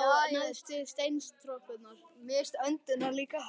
á neðstu steintröppurnar.